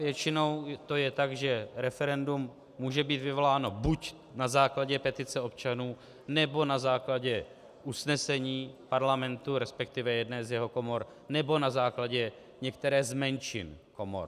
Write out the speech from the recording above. Většinou je to tak, že referendum může být vyvoláno buď na základě petice občanů, nebo na základě usnesení Parlamentu, respektive jedné z jeho komor, nebo na základě některé z menšin komor.